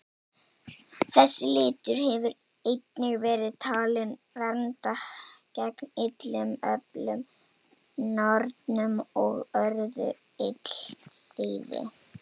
Þessi litur hefur einnig verið talinn vernda gegn illum öflum, nornum og öðru illþýði.